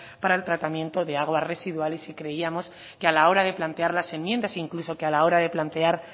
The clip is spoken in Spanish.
para el tratamiento de aguas residuales y creíamos que a la hora de plantear las enmiendas incluso que a la hora de plantear